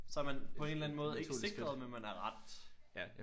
Så er man på en eller anden måde ikke sikret men man er ret ja